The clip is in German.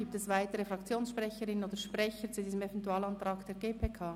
Gibt es weitere Fraktionssprecherinnen oder Fraktionssprecher zu diesem Eventualantrag der GPK?